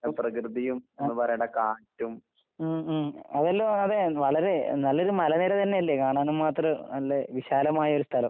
ഉം ആഹ് ഉം ഉം അതെല്ലോം അതെ വളരെ നല്ലൊരു മലനിരതന്നെയല്ലേ കാണാനും മാത്രം നല്ല വിശാലമായൊര് സ്ഥലം.